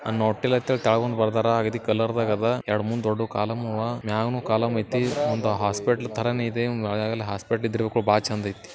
ನಾನು ಹೋಟೆಲ್ ಹತ್ರ ಕೆಳಗ್ ಒಂದ್ ಬರ್ದಾರ ಆ ರೀತಿ ಕಲರ್ ನಾಗ್ ಅದ. ಎರಡ್ಮೂರು ದೊಡ್ಡ ಕಾಲುಂ ಅವ ಮ್ಯಾಲು ಕಾಲುಂ ಐತಿ ಒಂದು ಹಾಸ್ಪಿಟಲ್ ತರಾನೇ ಇದೆ ಒಳಗೂನು ಹಾಸ್ಪಿಟಲ್ ಇದ್ರೆ ಚಂದಗೈತಿ.